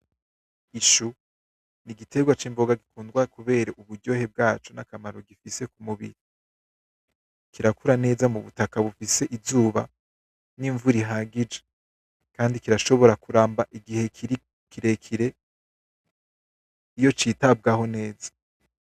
Ishu n'igitegwa k'imboga gikundwa kubera uburyohe bwaco nakamaro gifise kumubiri kirakura neza mu butaka bufise izuba n'imvura ihagije kandi kirashobora kuramba igihe kirekire iyo kitabwaho neza.